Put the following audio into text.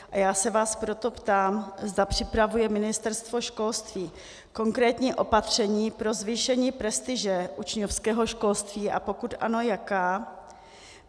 A já se vás proto ptám, zda připravuje Ministerstvo školství konkrétní opatření pro zvýšení prestiže učňovského školství, a pokud ano, jaká.